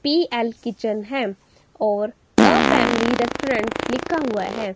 पी_एल kitchen है और a family restaurant लिखा हुआ है।